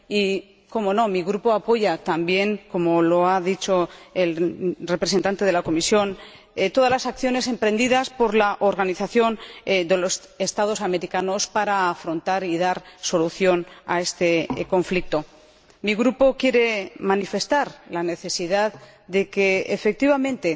Y, cómo no, mi Grupo apoya también, como lo ha hecho el representante de la Comisión, todas las acciones emprendidas por la Organización de Estados Americanos para afrontar y dar solución a este conflicto. Mi Grupo quiere manifestar la necesidad de que, efectivamente,